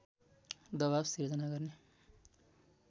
दवाब सिर्जना गर्ने